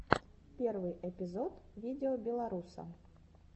первый эпизод видеобеларуса